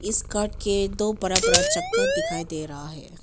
इस काट के दो बड़ा बड़ा चक्का दिखाई दे रहा है।